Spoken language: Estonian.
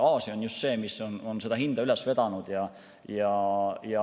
Aasia on just see, mis on seda hinda üles vedanud.